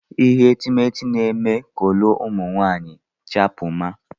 Ihe etemeete na-eme kọlọ ụmụ nwaanyị chapụma.